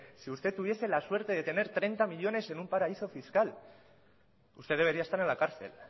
si usted tuviese la suerte de tener treinta millónes en un paraíso fiscal usted debería estar en la cárcel